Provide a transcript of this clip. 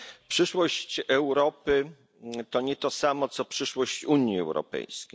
Przyszłość Europy to nie to samo co przyszłości Unii Europejskiej.